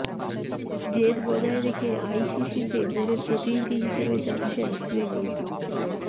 জেদ বজায় রেখে আইসিসিতে বোর্ডের প্রতিনিধি হিসাবে যাচ্ছেন শ্রীনি